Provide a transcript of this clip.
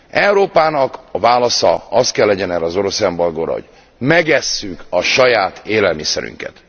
Európa válasza az kell legyen erre az orosz embargóra, hogy megesszük a saját élelmiszerünket.